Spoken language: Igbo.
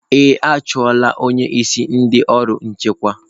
Ee, a chụọ la onye isi ndị ọrụ nchekwa.